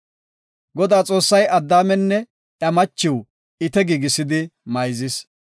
Godaa Xoossay Addaamenne iya machiw ite giigisidi mayzis.